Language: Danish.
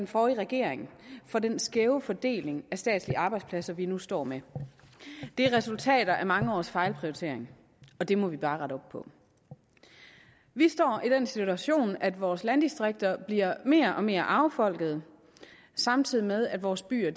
forrige regering for den skæve fordeling af statslige arbejdspladser vi nu står med det er resultater af mange års fejlprioritering og det må vi bare rette op på vi står i den situation at vores landdistrikter bliver mere og mere affolket samtidig med at vores byer